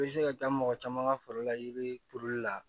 I bɛ se ka taa mɔgɔ caman ka foro la yiri turuli la